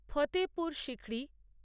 Fatehpur Sikri